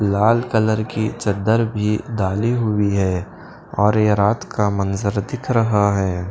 लाल colour की चद्दर भी डाली हुई है और यह रात का मंजर दिख रहा है।